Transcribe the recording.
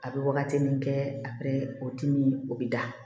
A bɛ wagati min kɛ a bɛ o dimi o bɛ da